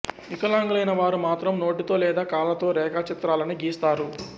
వికలాంగులైన వారు మాత్రం నోటితో లేదా కాళ్ళతో రేఖాచిత్రాలని గీస్తారు